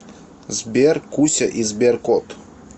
сбер куся и сберкот